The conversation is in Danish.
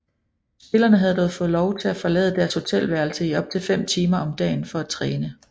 Spillerne havde dog fået lov til at forlade deres hotelværelse i op til fem timer om dagen for at træne